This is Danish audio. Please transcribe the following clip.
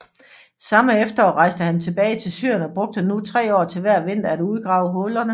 Samme efterår rejste han tilbage til Syrien og brugte nu tre år til hver vinter at udgrave hulerne